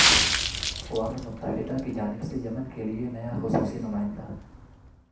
اقوام متحدہ کی جانب سے یمن کے لیے نیا خصوصی نمائندہ